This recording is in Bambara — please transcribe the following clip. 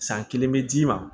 San kelen bɛ d'i ma